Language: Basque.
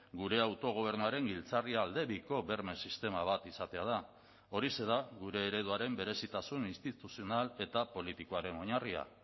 gure autogobernuaren giltzarria aldebiko berme sistema bat izatea da horixe da gure ereduaren berezitasun instituzional eta politikoaren oinarria